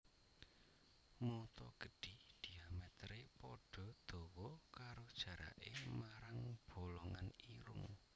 Mata gedhi diamèteré padha dawa karo jaraké marang bolongan irung